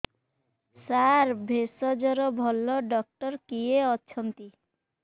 ସାର ଭେଷଜର ଭଲ ଡକ୍ଟର କିଏ ଅଛନ୍ତି